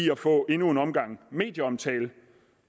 at få endnu en omgang medieomtale